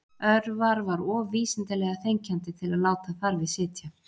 Örvar var of vísindalega þenkjandi til að láta þar við sitja